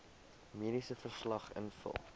mediese verslag invul